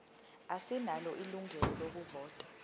asinalo ilungelo lokuvota